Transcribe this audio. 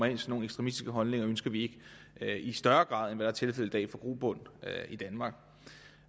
ekstremistiske holdninger ønsker vi ikke i større grad end tilfældet er i dag får grobund i danmark